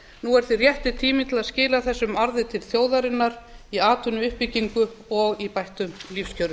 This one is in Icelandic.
nú er því rétti tíminn til að skila þessum arði til þjóðarinnar í atvinnuuppbyggingu og bættum lífskjörum